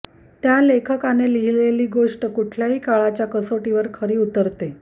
त्या लेखकाने लिहिलेली गोष्ट कुठल्याही काळाच्या कसोटीवर खरी उतरते